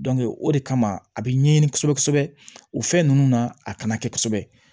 o de kama a bɛ ɲɛɲini kosɛbɛ kosɛbɛ o fɛn ninnu na a kana kɛ kosɛbɛ